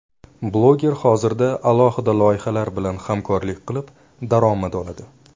Bloger hozirda alohida loyihalar bilan hamkorlik qilib, daromad oladi.